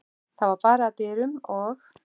Það var barið að dyrum og